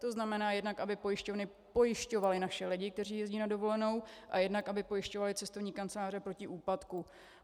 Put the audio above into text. To znamená, jednak aby pojišťovny pojišťovaly naše lidi, kteří jezdí na dovolenou, a jednak aby pojišťovaly cestovní kanceláře proti úpadku.